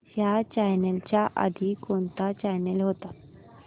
ह्या चॅनल च्या आधी कोणता चॅनल होता